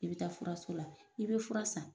I bi taa furaso la i bi fura san.